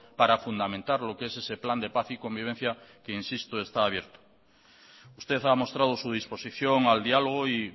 para fundamentar lo que es ese plan de paz y convivencia que insisto está abierto usted ha mostrado su disposición al diálogo y